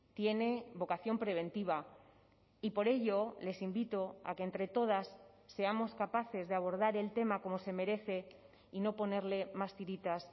tiene vocación preventiva y por ello les invito a que entre todas seamos capaces de abordar el tema como se merece y no ponerle más tiritas